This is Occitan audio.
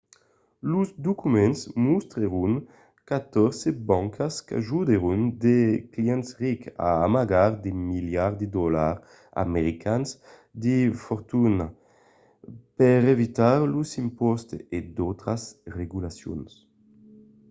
los documents mostrèron catòrze bancas qu'ajudèron de clients rics a amagar de miliards de dolars americans de fortuna per evitar los impòstes e d'autras regulacions